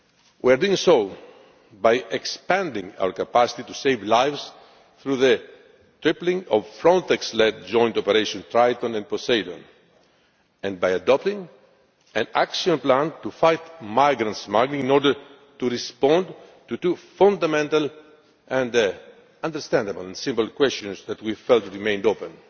We are doing so by expanding our capacity to save lives through the tripling of Frontex led joint operations Triton and Poseidon and by adopting an action plan to fight migrant smuggling in order to respond to two fundamental, understandable and simple questions that we felt remained open.